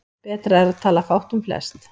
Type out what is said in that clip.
Betra er að tala fátt um flest.